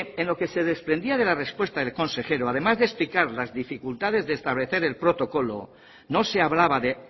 en lo que se desprendía de la respuesta del consejero además de explicar las dificultades de establecer el protocolo no se hablaba de